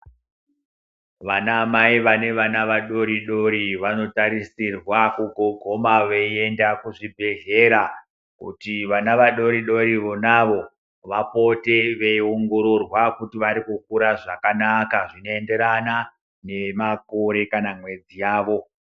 Vana mai vane vana vadodori vanotarisirwa kuguma veienda kuzvibhedhlera kuti vana vadodori vonavo vapote veiongororwa kuti vari kukura zvakanaka zvinoenderana nemakore kana mwedzi yawo.